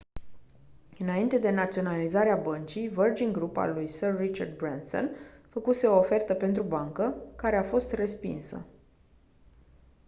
înainte de naționalizarea băncii virgin group al lui sir richard branson făcuse o ofertă pentru bancă care a fost respinsă